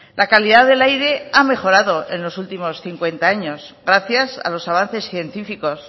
la calidad del aire ha mejorado en los últimos cincuenta años gracias a los avances científicos